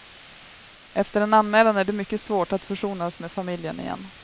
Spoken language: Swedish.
Efter en anmälan är det mycket svårt att försonas med familjen igen.